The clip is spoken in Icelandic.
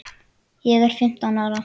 Ég er fimmtán ára.